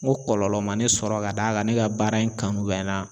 Ŋo kɔlɔlɔ ma ne sɔrɔ k'a d'a ka ne ka baara in kanu bɛ na